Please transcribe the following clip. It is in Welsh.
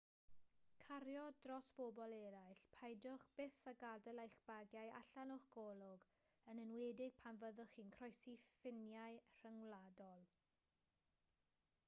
cario dros bobl eraill peidiwch byth â gadael eich bagiau allan o'ch golwg yn enwedig pan fyddwch chi'n croesi ffiniau rhyngwladol